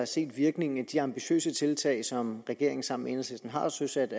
set virkningen af de ambitiøse tiltag som regeringen sammen med enhedslisten har søsat